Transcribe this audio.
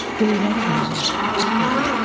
göyləri verirəm, dedin.